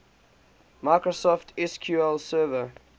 microsoft sql server